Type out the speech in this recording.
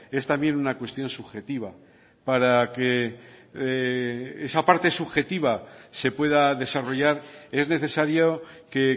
es también una cuestión subjetiva para que esa parte subjetiva se pueda desarrollar es necesario que